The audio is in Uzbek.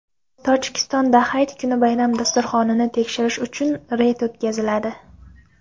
Tojikistonda hayit kuni bayram dasturxonini tekshirish uchun reyd o‘tkaziladi.